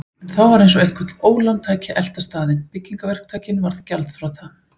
En þá var eins og eitthvert ólán tæki að elta staðinn: Byggingaverktakinn varð gjaldþrota.